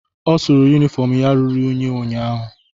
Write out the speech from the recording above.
Ọ sụrụ yunifọm ya ruru unyi ụnyaahụ.